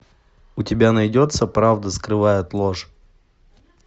у тебя найдется правда скрывает ложь